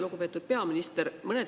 Lugupeetud peaminister!